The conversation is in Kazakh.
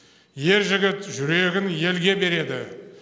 ер жігіт жүрегін елге береді